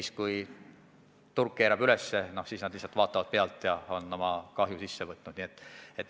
Ja kui turg keerab tõusule, siis nad lihtsalt vaatavad pealt ja on oma kahju omaks võtnud.